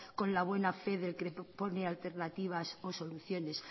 con la buena fe del que pone alternativas o soluciones